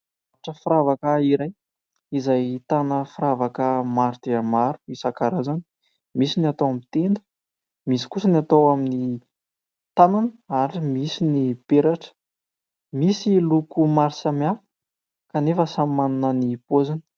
Mpivarotra firavaka iray, izay ahitana firavaka maro dia maro isan-karazany : misy ny atao amin'ny tenda, misy kosa ny atao amin'ny tanana ary misy ny peratra, misy loko maro samihafa kanefa samy manana ny paoziny.